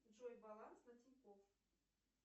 джой баланс на тинькофф